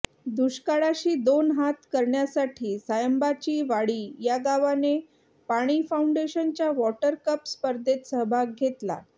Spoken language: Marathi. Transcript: दुष्काळाशी दोन हात करण्यासाठी सायंबाची वाडी या गावाने पाणी फाउंडेशनच्या वॉटर कप स्पर्धेत सहभाग घेतला